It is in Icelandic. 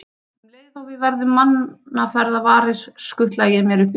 Um leið og við verðum mannaferða varir, skutla ég mér upp í koju.